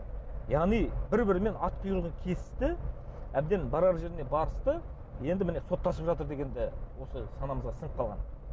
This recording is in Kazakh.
яғни бір бірімен ат құйрығын кесісті әбден барар жеріне барысты енді міне соттасып жатыр дегенді осы санамызға сіңіп қалған